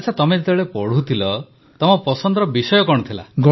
ଆଚ୍ଛା ତମେ ଯେତେବେଳେ ପଢ଼ୁଥିଲ ତମ ପସନ୍ଦର ବିଷୟ କଣ ଥିଲା